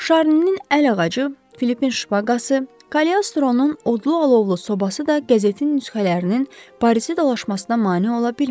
Şarninin əl ağacı, Filipin şpaqası, Kaliostronun odlu alovlu sobası da qəzetin nüsxələrinin Parisdə dolaşmasına mane ola bilmədi.